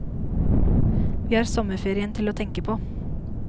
Vi har sommerferien til å tenke på.